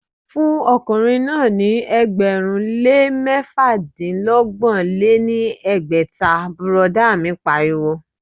Fún ọkùnrin náà ní ẹgbẹ̀rún lé mẹ́fàdínọgbọ̀n lé ní ẹgbẹ́ta,, bùrọ̀dá mi pariwo